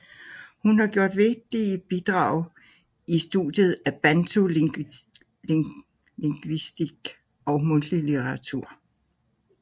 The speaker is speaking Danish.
Hun har gjort vigtige bidrag i studiet af bantu lingvistik og mundtlig litteratur